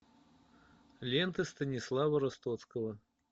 лента станислава ростоцкого